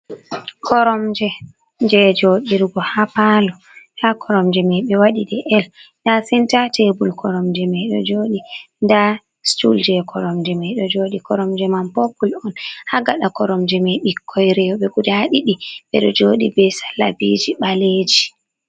Koromje, jei joɗirgo ha palo. Nda Koromje mai ɓe waɗi de L, nda senta tebul koromje mai ɗo joɗi, nda stul jei koromje mai ɗo joɗi. Koromje mai popul on. Ha gaɗa koromje mai ɓikkoi rowɓe guda ɗiɗi ɓe ɗo joɗi be salabiji ɓaleeji.